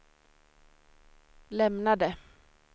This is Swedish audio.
lämnade